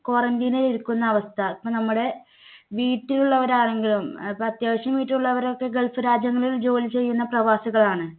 quarantine ൽ ഇരിക്കുന്ന അവസ്ഥ. ഇപ്പോ നമ്മുടെ വീട്ടിലുള്ളവർ ആരെങ്കിലും ഇപ്പോ അത്യാവശ്യം വീട്ടിൽ ഉള്ളവരൊക്കെ gulf രാജ്യങ്ങളിൽ ജോലി ചെയ്യുന്ന പ്രവാസികളാണ്.